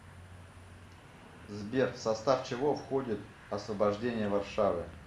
сбер в состав чего входит освобождение варшавы